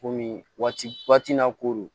Komi waati na ko don